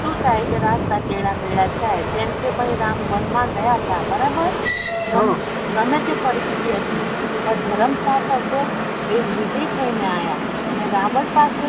શું થાય છે રસ્તા તેડામેડા થાય જેમ કે ભાઈ રામ વન મા ગય તા બરાબર હમ ગમે તે પરીશથી હતી પણ ધર્મ સાથ હતો એ વિજય થઇ ને આયા અને રાવણ પાસે